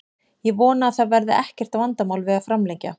Ég vona að það verði ekkert vandamál við að framlengja.